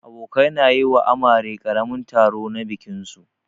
Abokanai na yi wa amare karamin taro na bikin su.